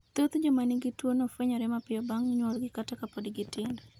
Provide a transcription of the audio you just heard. Thoth joma nigi tuwono fwenyore mapiyo bang' nyuolgi kata ka pod gitindo.